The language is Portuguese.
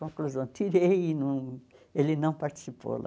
Conclusão, tirei e não ele não participou lá.